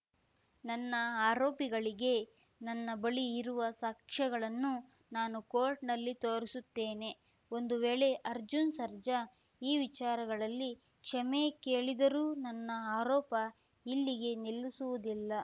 ನನ್ನ ಆರೋಪಿಗಳಿಗೆ ನನ್ನ ಬಳಿ ಇರುವ ಸಾಕ್ಷ್ಯಗಳನ್ನು ನಾನು ಕೋರ್ಟ್‌ನಲ್ಲಿ ತೋರಿಸುತ್ತೇನೆ ಒಂದು ವೇಳೆ ಅರ್ಜುನ್‌ ಸರ್ಜಾ ಈ ವಿಚಾರಗಳಲ್ಲಿ ಕ್ಷಮೆ ಕೇಳಿದರೂ ನನ್ನ ಆರೋಪ ಇಲ್ಲಿಗೆ ನಿಲ್ಲಿಸುವುದಿಲ್ಲ